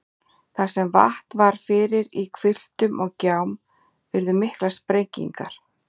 Þar sem vatn var fyrir í hvilftum og gjám urðu miklar sprengingar.